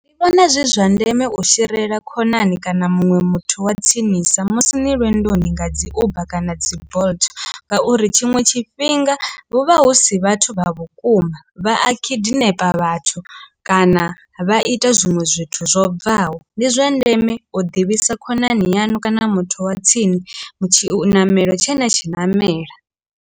Ndi vhona zwi zwa ndeme u sherela khonani kana muṅwe muthu wa tsinisa musi ni lwendoni nga dzi uber kana dzi bolt ngauri tshiṅwe tshifhinga huvha husi vhathu vha vhukuma vha a khidinepa vhathu kana vha ita zwinwe zwithu zwo bvaho, ndi zwa ndeme u ḓivhisa khonani yanu kana muthu wa tsini tshiṋamelo tshe na tshi namela.